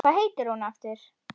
Hvað heitir þú aftur?